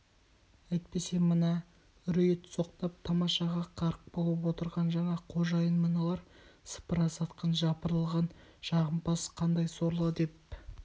әйтпесе мына үриіт соқтап тамашаға қарық болып отырған жаңа қожайын мыналар сыпыра сатқын жапырылған жағымпаз қандай сорлы деп